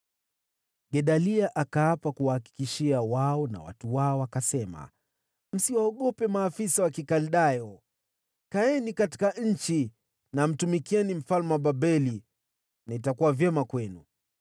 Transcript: Gedalia akaapa ili kuwatia moyo wao na watu wao. Akasema, “Msiwaogope maafisa wa Kikaldayo. Kaeni katika nchi na kumtumikia mfalme wa Babeli, na itakuwa vyema kwenu.”